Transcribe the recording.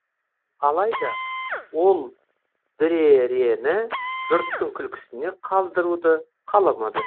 алайда ол дүрэрэні жұрттың күлкісіне қалдыруды қаламады